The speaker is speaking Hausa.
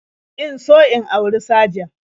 In so in auri sajan